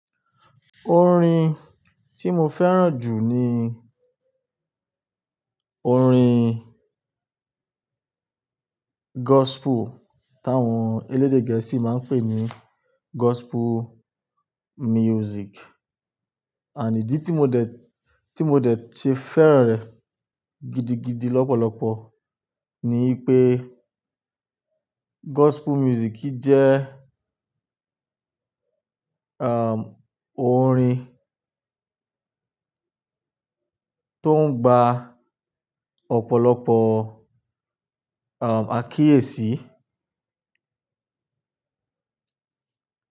Orin tí mo fẹ́ràn jù ni orin gospel táwọn elédè gẹ̀ẹ́sì máa ń pè ní gospel music. Ànídí tí mo dẹ̀, tí mo dẹ̀ ṣe fẹ́ràn rẹ̀ gidigidi lọ́pọ̀lọpọ̀ ni pé gospel music jẹ́ orin tó ń gba ọ̀pọ̀lọpọ̀ am àkíyèsí.